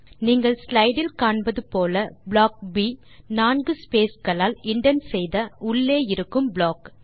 நீங்கள் ஸ்லைடு இல் காண்பது போல ப்ளாக் ப் நான்கு ஸ்பேஸ் களால் இண்டென்ட் செய்த உள்ளே இருக்கும் ப்ளாக்